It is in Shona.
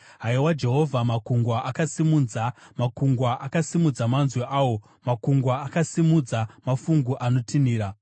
Haiwa Jehovha, makungwa akasimudza, makungwa akasimudza manzwi awo; makungwa akasimudza mafungu anotinhira.